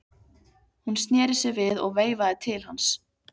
Hún sneri sér við og veifaði til hans.